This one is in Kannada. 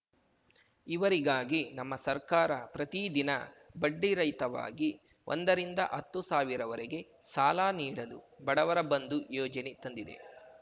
ಇವರಿಗಾಗಿ ನಮ್ಮ ಸರ್ಕಾರ ಪ್ರತಿ ದಿನ ಬಡ್ಡಿರಹಿತವಾಗಿ ಒಂದರಿಂದ ಹತ್ತು ಸಾವಿರವರೆಗೆ ಸಾಲ ನೀಡಲು ಬಡವರ ಬಂಧು ಯೋಜನೆ ತಂದಿದೆ